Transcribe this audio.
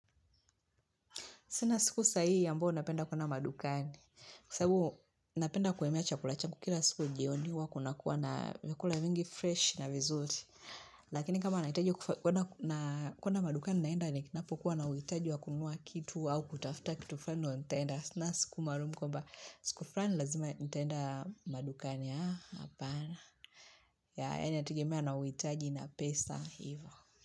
Sina siku sahii ambayo napenda kwenda madukani. Kwa sababu napenda kuhemea chakula changu kila siku jioni huwa kunakuwa na vyakula vingii fresh na vizuri. Lakini kama nahitaji kwenda madukani naenda ninapokuwa na uhitaji wa kununua kitu au kutafuta kitu fulani ndo nitaenda. Sina siku maalumu kwamba siku fulani lazima nitaenda madukani. Hapana. Inategemea na uhitaji na pesa.